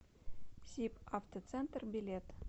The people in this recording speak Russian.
сибавтоцентр билет